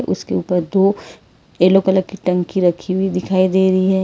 उसके ऊपर दो येलो कलर की टंकी रखी हुई दिखाई दे रही है।